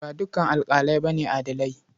Ba dukan alaƙalai ba ne adilai.